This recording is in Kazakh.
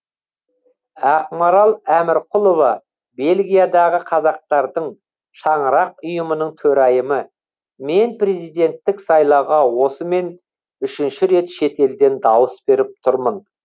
ақмарал әмірқұлова бельгиядағы қазақтардың шаңырақ ұйымының төрайымы мен президенттік сайлауға осымен үшінші рет шетелден дауыс беріп тұрмын